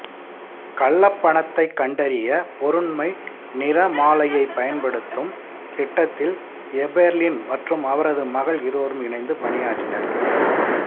கள்ளப் பணத்தைக் கண்டறிய பொருண்மை நிறமாலையைப் பயன்படுத்தும் திட்டத்தில் எபெர்லின் மற்றும் அவரது மகள் இருவரும் இணைந்து பணியாற்றினர்